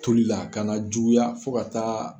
Toli, a ka na juguya fo ka taa